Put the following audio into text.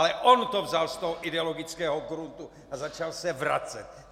Ale on to vzal z toho ideologického gruntu a začal se vracet.